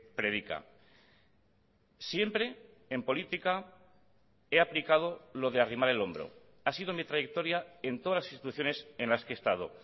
predica siempre en política he aplicado lo de arrimar el hombro ha sido mi trayectoria en todas las instituciones en las que he estado